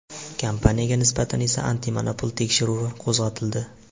Kompaniyaga nisbatan esa antimonopol tekshiruvi qo‘zg‘atildi.